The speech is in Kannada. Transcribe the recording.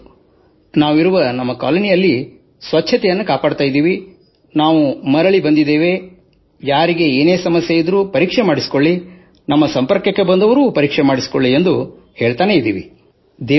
ಹೌದು ನಾವಿರುವ ನಮ್ಮ ಕಾಲೋನಿಯಲ್ಲಿ ಸ್ವಚ್ಛತೆಯನ್ನು ಕಾಪಾಡಿಕೊಳ್ಳುತ್ತಿದ್ದೇವೆ ಮತ್ತು ನಾವು ಮರಳಿ ಬಂದಿದ್ದೇವೆ ಹೆದರಬೇಡಿ ಯಾರಿಗೆ ಏನೇ ಸಮಸ್ಯೆ ಇದ್ದರೂ ಪರೀಕ್ಷೆ ಮಾಡಿಸಿಕೊಳ್ಳಿ ನಮ್ಮ ಸಂಪರ್ಕಕ್ಕೆ ಬಂದವರು ಪರೀಕ್ಷೆ ಮಾಡಿಸಿಕೊಳ್ಳಿ ಎಂದು ಹೇಳುತ್ತಿದ್ದೇವೆ